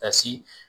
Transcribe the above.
Ka si